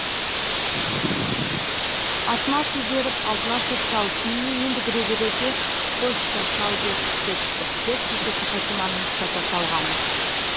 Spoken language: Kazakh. атына су беріп алдына шөп салып үйіне енді кіре берерде почта шал беріп кетті деп шешесі фатиманың ұстата салғаны